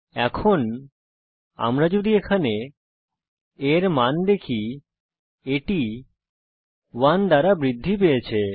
এখন আমরা যদি এখানে a এর মান দেখি এটি 1 দ্বারা বৃদ্ধি পেয়েছে